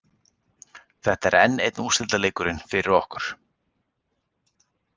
Þetta er enn einn úrslitaleikurinn fyrir okkur.